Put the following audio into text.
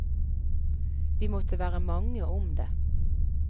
Vi måtte være mange om det.